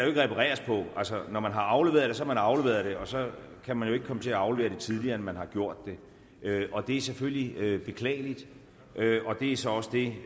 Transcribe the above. repareres på altså når man har afleveret det så har man afleveret det og så kan man jo ikke komme til at aflevere det tidligere end man har gjort og det er selvfølgelig beklageligt det er så også det